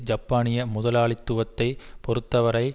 ஜப்பானிய முதலாளித்துவத்தை பொறுத்தவரை